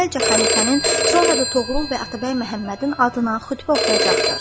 Əvvəlcə xəlifənin, sonra da Toğrul və Atabəy Məhəmmədin adına xütbə oxuyacaqdır.